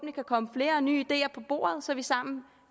kan komme flere nye ideer på bordet så vi sammen